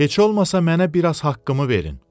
Heç olmasa mənə biraz haqqımı verin.